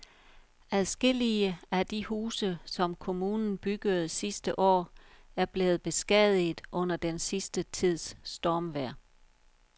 Adskillige af de huse, som kommunen byggede sidste år, er blevet beskadiget under den sidste tids stormvejr.